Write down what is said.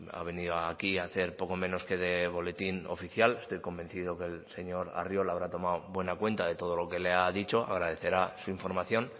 ha venido aquí a hacer poco menos que de boletín oficial estoy convencido que el señor arriola habrá tomado buena cuenta de todo lo que le ha dicho agradecerá su información